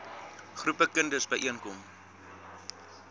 groepe kinders byeenkom